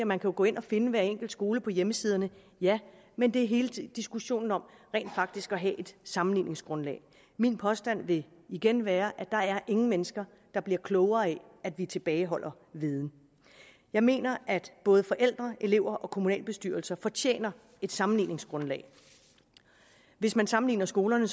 man kan gå ind og finde hver enkelt skole på hjemmesiderne ja men det er hele diskussionen om rent faktisk at have et sammenligningsgrundlag min påstand vil igen være at der er ingen mennesker der bliver klogere af at vi tilbageholder viden jeg mener at både forældre elever og kommunalbestyrelser fortjener et sammenligningsgrundlag hvis man sammenligner skolerne